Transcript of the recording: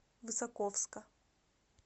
высоковска